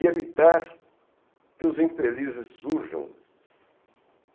E evitar que os infelizes surjam.